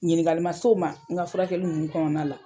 Ɲiningali man s'o ma n ka furakɛli ninnu kɔnɔna la.